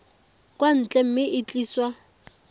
kwa ntle mme e tliswa